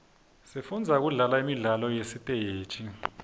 sifundza kudlala imidlalo yasesiteji